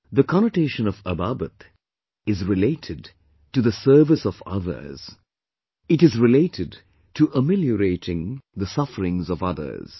The connotation of Ababat is related to the service of others...it is related to ameliorating the sufferings of others